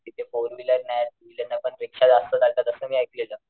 तिथे four wheeler नाही two wheeler नाही पण रिक्षा जास्त चालतात असं मी ऐकलेल.